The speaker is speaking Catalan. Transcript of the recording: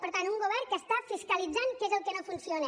per tant un govern que està fiscalitzant què és el que no funciona